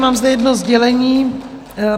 Mám zde jedno sdělení.